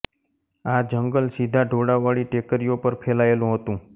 આ જંગલ સીધા ઢોળાવવાળી ટેકરીઓ પર ફેલાયેલું હતું